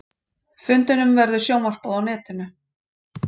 Fundinum verður sjónvarpað á netinu